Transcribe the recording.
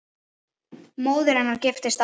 Móðir hennar giftist aftur.